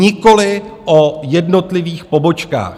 Nikoli o jednotlivých pobočkách.